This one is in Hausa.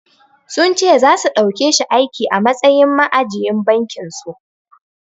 Sun ce zasu ɗaukeshi aiki a matsayin ma'ajiyin bankin su.